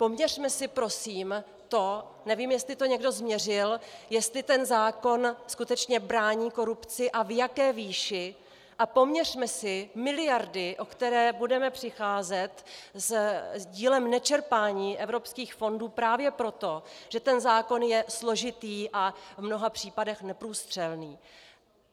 Poměřme si prosím to - nevím, jestli to někdo změřil, jestli ten zákon skutečně brání korupci a v jaké výši, a poměřme si miliardy, o které budeme přicházet s dílem nečerpání evropských fondů právě proto, že ten zákon je složitý a v mnoha případech neprůstřelný.